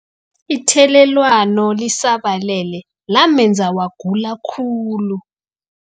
Ithelelwano lisabalele lamenza wagula khulu.